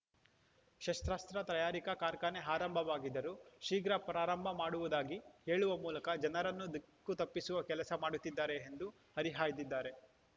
ಶಸ್ತ್ರಾಸ್ತ್ರ ತಯಾರಿಕಾ ಕಾರ್ಖಾನೆ ಆರಂಭವಾಗಿದ್ದರೂ ಶೀಘ್ರ ಪ್ರಾರಂಭ ಮಾಡುವುದಾಗಿ ಹೇಳುವ ಮೂಲಕ ಜನರನ್ನು ದಿಕ್ಕು ತಪ್ಪಿಸುವ ಕೆಲಸ ಮಾಡುತ್ತಿದ್ದಾರೆ ಎಂದು ಹರಿಹಾಯ್ದಿದ್ದಾರೆ